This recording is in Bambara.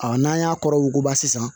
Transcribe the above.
n'an y'a kɔrɔ wuguba sisan